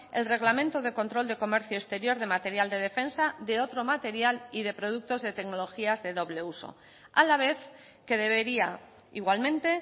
el reglamento de control de comercio exterior de material de defensa de otro material y de productos de tecnologías de doble uso a la vez que debería igualmente